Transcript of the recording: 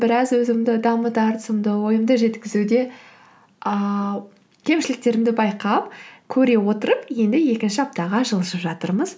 біраз өзімді ойымды жеткізуде ыыы кемшіліктерімді байқап көре отырып енді екінші аптаға жылжып жатырмыз